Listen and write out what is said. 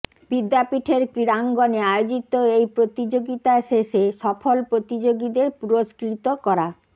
বিদ্যাপীঠের ক্রীড়াঙ্গনে আয়োজিত এই প্রতিযোগিতা শেষে সফল প্রতিযোগীদের পুরস্কৃত করা